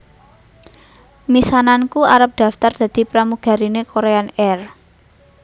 Misananku arep daftar dadi pramugarine Korean Air